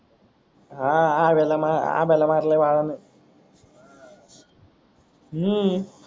हा अव्या अव्यालाना आंब्याला मारल बाळा नी हम्म